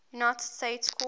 united states court